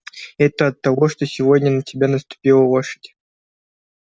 это от того что сегодня на тебя наступила лошадь